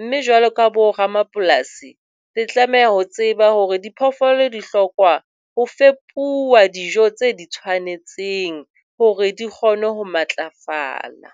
Mme jwalo ka boramapolasi le tlameha ho tseba hore diphoofolo di hloka ho fepuwa dijo tse tshwanetseng hore di kgone ho matlafala.